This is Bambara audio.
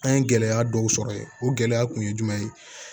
An ye gɛlɛya dɔw sɔrɔ yen o gɛlɛya kun ye jumɛn ye